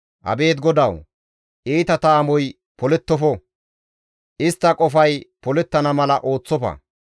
Abeet GODAWU! Iitata amoy polettofo; istta qofay polettana mala ooththofa!